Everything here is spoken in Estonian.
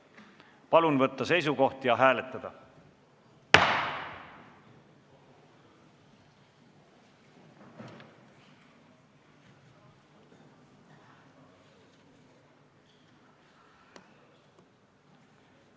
Palun võtta seisukoht ja hääletada!